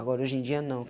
Agora, hoje em dia não.